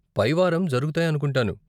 పై వారం జరగుతాయను కుంటాను.